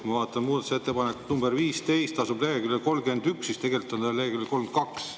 Ma vaatan, et muudatusettepanek nr 15 asub nagu leheküljel 31, tegelikult on ta leheküljel 32.